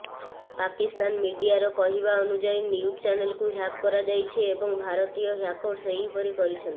ପାକିସ୍ତାନ ମିଡିଆର କହିବା ଅନୁଯାୟୀ ନିଉଜ ଚାନେଲକୁ ହ୍ୟାକ୍ କରାଯାଇଛି ଏବଂ ଭାରତୀୟ ହ୍ୟାକର୍ସ ଏପରି କରିଛନ୍ତି